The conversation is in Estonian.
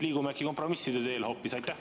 Liigume äkki kompromisside teel hoopis?